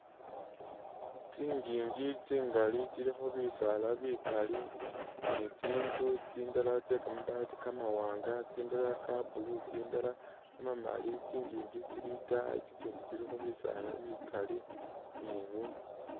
Tsingingi tsingali tsilikho bisaala bikaali ni tsinzu tsindala tse kamabaati kamawanga tsindala ka'blue tsindala kamamaali, tsingingi tsili itaayi tsitsindi tsilikho bisaala bikaali ni ...